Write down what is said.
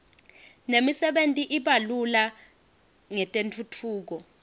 nemisebenti i iba lula ngetentfutfuko